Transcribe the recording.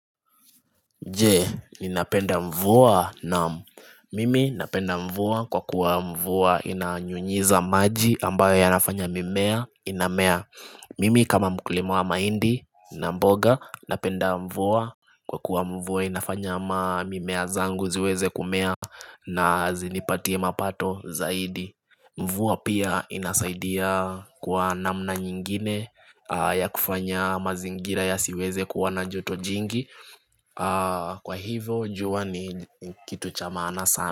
Je, ninapenda mvua naam mimi napenda mvua kwa kuwa mvua inanyunyiza maji ambayo yanafanya mimea inamea Mimi kama muklima wa mahindi na mboga napenda mvua kwa kuwa mvua inafanya mamimea zangu ziweze kumea na zinipatie mapato zaidi Mvua pia inasaidia kwa namna nyingine ya kufanya mazingira yasiweze kuwa na joto jingi Kwa hivo jua ni kitu cha maana sana.